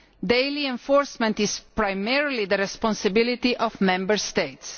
Daily enforcement is primarily the responsibility of Member States.